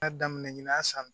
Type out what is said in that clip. Ya daminɛ ɲinan san